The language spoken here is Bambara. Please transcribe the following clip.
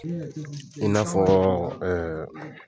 i n'a fɔɔ